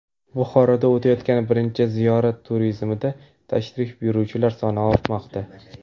Buxoroda o‘tayotgan birinchi ziyorat turizmida tashrif buyuruvchilar soni ortmoqda.